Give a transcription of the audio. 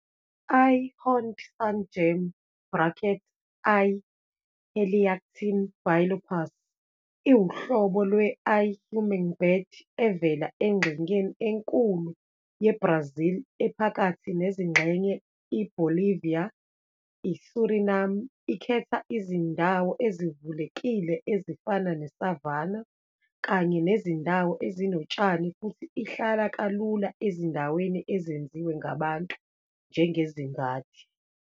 I-horned sungem, brackets, I-Heliactin bilophus, iwuhlobo lwe-i-hummingbird evela engxenyeni enkulu ye-Brazil ephakathi nezingxenye IBolivia ISuriname. Ikhetha izindawo ezivulekile ezifana ne-savanna kanye nezindawo ezinotshani futhi ihlala kalula ezindaweni ezenziwe ngabantu njengezingadi.